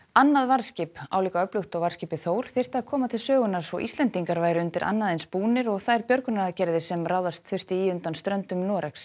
annað varðskip álíka öflugt og varðskipið Þór þyrfti að koma til sögunnar svo Íslendingar væru undir annað eins búnir og þær björgunaraðgerðir sem ráðast þurfti í undan ströndum Noregs